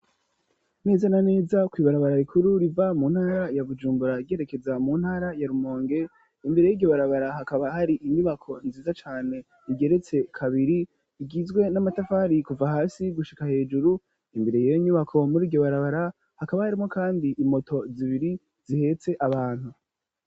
Neza na neza kw'ibarabara rikuru riva mu ntara ya Bujumbura ryerekeza mu ntara ya Iumonge imbere yryo barabara hakaba hari inyubako nziza cane igeretse kabiri igizwe n'amatafari kuva hasi gushika hejuru imbere yiyo nyubako muri iryobarabara hakaba harimwo kandi imoto zibiri zihetse abantu.